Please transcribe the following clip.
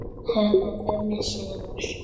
Höfum unnið sigur.